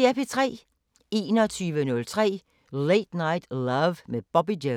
21:03: Late Night Love med Bobby Jones